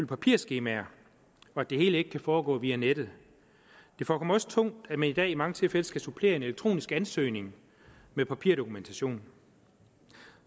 papirskemaer og at det hele ikke kan foregå via nettet det forekommer også tungt at man i dag i mange tilfælde skal supplere en elektronisk ansøgning med papirdokumentation